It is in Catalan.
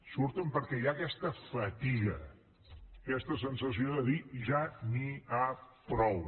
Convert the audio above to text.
surten perquè hi ha aquesta fatiga aquesta sensació de dir ja n’hi ha prou